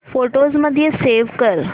photos मध्ये save कर